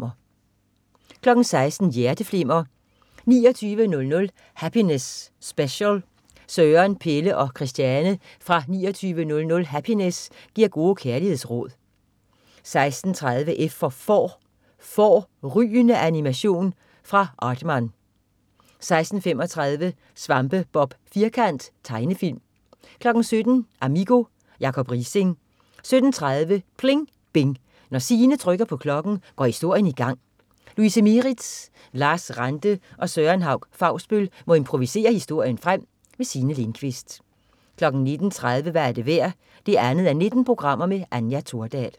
16.00 Hjerteflimmer: 2900 Happiness Special. Søren, Pelle og Christiane fra 2900 Happiness giver gode kærlighedsråd 16.30 F for får. Fårrygende animation fra Aardman 16.35 Svampebob Firkant. Tegnefilm 17.00 Amigo. Jacob Riising 17.30 PLING BING. Når Signe trykker på klokken, går historien i gang! Louise Mieritz, Lars Ranthe og Søren Hauch-Fausbøll må improvisere historien frem. Signe Lindkvist 19.30 Hvad er det værd 2:19. Anja Thordal